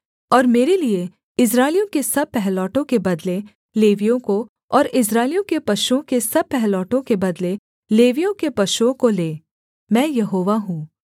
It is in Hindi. और मेरे लिये इस्राएलियों के सब पहिलौठों के बदले लेवियों को और इस्राएलियों के पशुओं के सब पहिलौठों के बदले लेवियों के पशुओं को ले मैं यहोवा हूँ